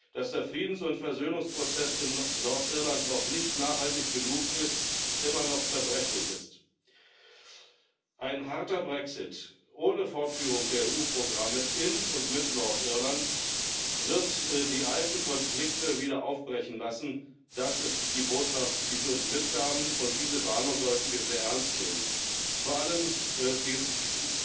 dass der Friedens und Versöhnungsprozess in Nordirland noch nicht nachhaltig genug und immer noch zerbrechlich ist. Ein harter Brexit ohne Fortführung der EU Programme in und mit Nordirland wird die alten Konflikte wieder aufbrechen lassen. Das ist die Botschaft, die sie uns mitgaben, und diese Warnung sollten wir sehr ernst nehmen, wie wir ja vor nicht allzu langer Zeit